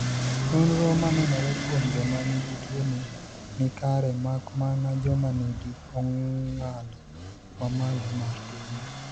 Nonro manenore kuom joma nigi tuoni ni kare mak mana joma ni gi ongalo mamalo mar tuono.